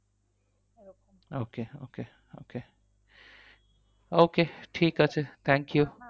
Okay okay okay okay ঠিক আছে thank you